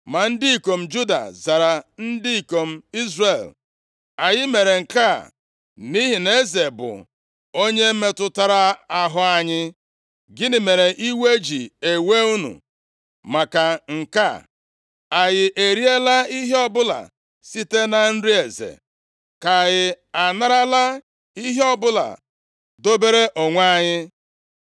Ma ndị ikom Juda zara ndị ikom Izrel, “Anyị mere nke a nʼihi na eze bụ onye metụtara ahụ anyị. Gịnị mere iwe ji ewe unu maka nke a? Anyị eriela ihe ọbụla site na nri eze? Ka anyị anarala ihe ọbụla dobere onwe anyị?”